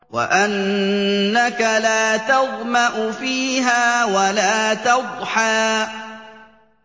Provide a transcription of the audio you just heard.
وَأَنَّكَ لَا تَظْمَأُ فِيهَا وَلَا تَضْحَىٰ